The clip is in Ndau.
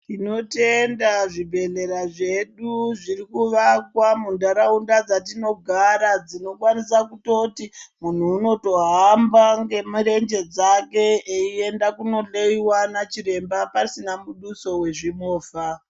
Tinotenda zvibhedhlera zvedu zviri kuvakwa munharaunda dzatinogara dzinokwanisa kutoti muntu unotohamba ngemurenje dzake eienda kunohloiwa nachiremba pasina muduso wezvimovha.